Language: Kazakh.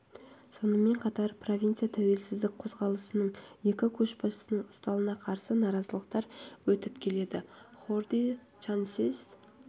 сонымен қатар провинцияда тәуелсіздік қозғалысының екі көшбасшысының ұсталына қарсы наразылықтар өсіп келеді хорди санчез